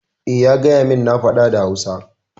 Eh, ya gayamin na faɗa da Hausa.